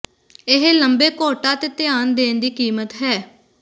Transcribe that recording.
ਇਹ ਲੰਬੇ ਕੋਟਾਂ ਤੇ ਧਿਆਨ ਦੇਣ ਦੀ ਕੀਮਤ ਹੈ